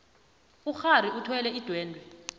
ukghari uthwele idwendwe